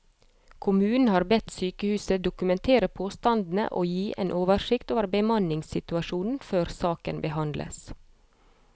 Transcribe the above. Kommunen har bedt sykehuset dokumentere påstandene og gi en oversikt over bemanningssituasjonen før saken behandles.